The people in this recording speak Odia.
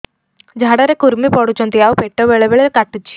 ଝାଡା ରେ କୁର୍ମି ପଡୁଛନ୍ତି ଆଉ ପେଟ ବେଳେ ବେଳେ କାଟୁଛି